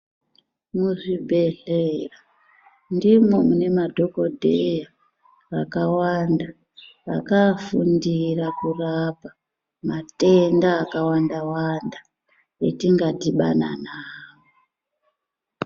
Muzvibhedhlera, ndimwo mune madhokodheya akawanda, akaofundira kurapa, matenda akawanda-wanda, atingadhibana nawo.